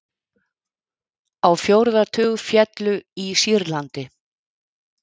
Lífríki ferskvatns að breytast